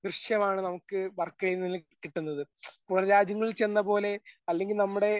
ദൃശ്യമാണ് നമുക്ക് വർക്കലയിൽ നിന്നും കിട്ടുന്നത്. പുറം രാജ്യങ്ങളിൽ ചെന്നപോലെ അല്ലെങ്കിൽ നമ്മടെ